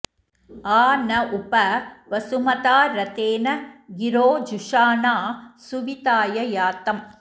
आ न उप वसुमता रथेन गिरो जुषाणा सुविताय यातम्